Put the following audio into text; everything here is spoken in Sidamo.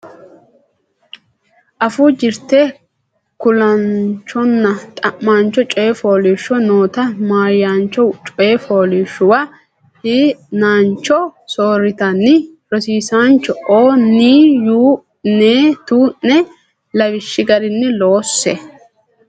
Afuu Jirte Kulaanchonna Xa maancho Coy Fooliishsho noota maahoyyaancho coy fooliishshuwa hi naanchote soorritinanni rosiisaanchi o ne uyi ne tu ne lawishshi garinni loosse.